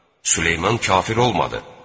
Süleyman kafir olmadı.